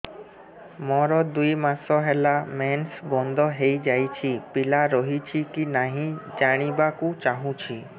ମୋର ଦୁଇ ମାସ ହେଲା ମେନ୍ସ ବନ୍ଦ ହେଇ ଯାଇଛି ପିଲା ରହିଛି କି ନାହିଁ ଜାଣିବା କୁ ଚାହୁଁଛି